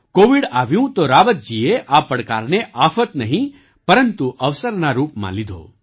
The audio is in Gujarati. કૉવિડ આવ્યું તો રાવતજીએ આ પડકારને આફત નહીં પરંતુ અવસરના રૂપમાં લીધો